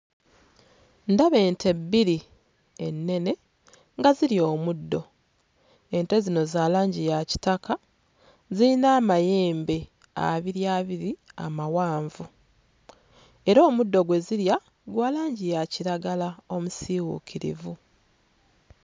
Ndaba ente bbiri ennene nga zirya omuddo. Ente zino za langi ya kitaka ziyina amayembe abiri abiri amawanvu era omuddo gwe zirya gwa langi ya kiragala omusiiwuukirivu.